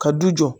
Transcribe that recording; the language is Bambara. Ka du jɔ